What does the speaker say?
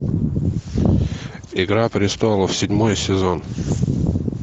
игра престолов седьмой сезон